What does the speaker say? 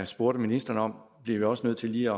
spurgte ministeren om bliver vi også nødt til lige